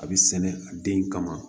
A bɛ sɛnɛ a den kama